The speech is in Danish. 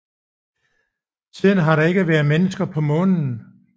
Siden har der ikke været mennesker på Månen